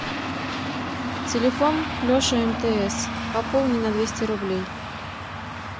телефон леша мтс пополни на двести рублей